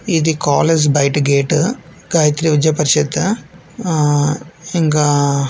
ఇది కాలేజ్ బయట గేటు గాయత్రి విద్యా పరిషత్తు ఆ ఇంకా --